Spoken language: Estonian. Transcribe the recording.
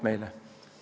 Meile sobib.